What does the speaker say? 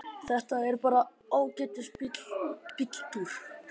Þetta er bara ágætis bíltúr.